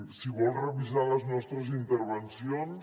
si vol revisar les nostres intervencions